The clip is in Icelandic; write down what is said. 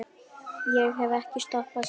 Ég hef ekki stoppað síðan.